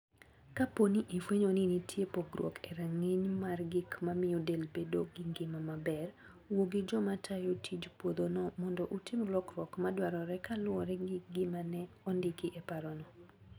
Kapo ni ifwenyo ni nitie pogruok e rang'iny mar gik mamiyo del bedo gi ngima maber, wuo gi joma tayo tij puodhono mondo utim lokruok ma dwarore kaluwore gi gima ne ondiki e raparno.